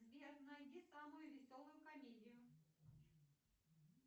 сбер найди самую веселую комедию